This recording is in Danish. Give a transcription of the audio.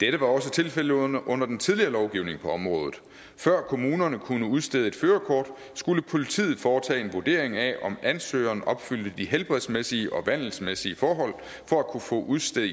dette var også tilfældet under under den tidligere lovgivning på området før kommunerne kunne udstede et førerkort skulle politiet foretage en vurdering af om ansøgeren opfyldte de helbredsmæssige og vandelsmæssige forhold for at kunne få udstedt